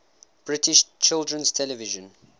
british children's television